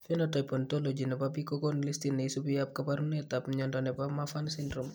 Phenotype Ontology ne po biik ko konu listiit ne isubiap kaabarunetap mnyando ne po Marfan syndrome.